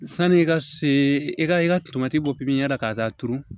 Sanni i ka e ka i ka da ka taa turu